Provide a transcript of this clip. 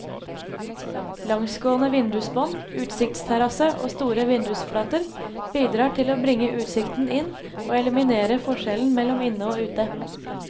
Langsgående vindusbånd, utsiktsterrasse og store vindusflater bidrar til å bringe utsikten inn og eliminere forskjellen mellom inne og ute.